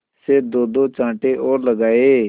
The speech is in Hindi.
से दोदो चांटे और लगाए